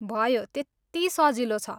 भयो, त्यत्ति सजिलो छ।